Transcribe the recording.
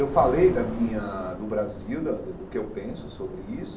Eu falei da minha do Brasil, da do que eu penso sobre isso,